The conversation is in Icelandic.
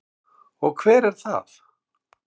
Og hver er það?